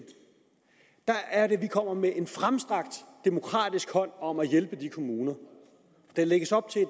der er det vi kommer med en fremstrakt demokratisk hånd om at hjælpe de kommuner der lægges op til at